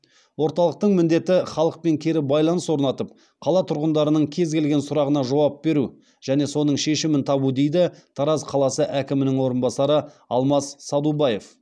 орталықтың міндеті халықпен кері байланыс орнатып қала тұрғындарының кез келген сұрағына жауап беру және соның шешімін табу дейді тараз қаласы әкімінің орынбасары алмас садубаев